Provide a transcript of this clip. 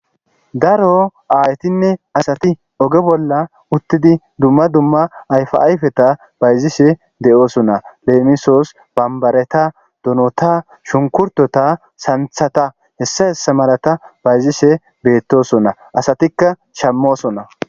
Daro ayetinne asati oge bolla utidi dumma dumma ayfa ayfeta bayzishe de'eosona lemiso banbareta donota shunkurtota santhata hesa hesa malata bayzishe betosona asatikka shamosona